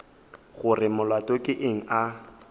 gore molato ke eng a